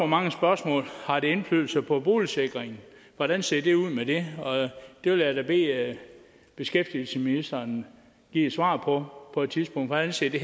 mange spørgsmål har det indflydelse på boligsikringen hvordan ser det ud med det det vil jeg da bede beskæftigelsesministeren give et svar på på et tidspunkt hvordan ser det